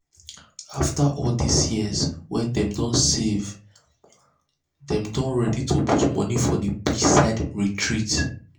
after all this years wey dem don save save dem don ready to put money for the beachside retreat